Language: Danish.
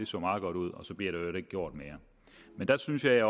så meget godt ud og så bliver der i øvrigt ikke gjort mere men der synes jeg